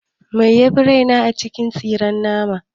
Mai yafi raina? cin tsiren mata.